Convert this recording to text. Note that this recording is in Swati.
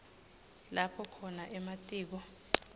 lapho khona ematiko